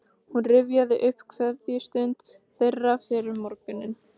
Hún rifjaði upp kveðjustund þeirra fyrr um morguninn.